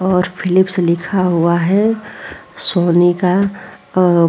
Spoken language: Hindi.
और फीलिप्स लिखा हुआ है सोनी का अ --